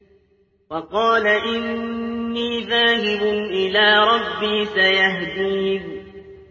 وَقَالَ إِنِّي ذَاهِبٌ إِلَىٰ رَبِّي سَيَهْدِينِ